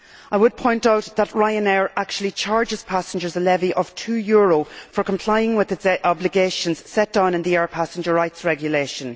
I would point out that Ryanair actually charges passengers a levy of EUR 2 for complying with its obligations set down in the Air Passenger Rights regulation.